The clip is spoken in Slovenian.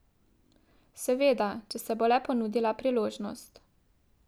Seveda, če se bo le ponudila priložnost.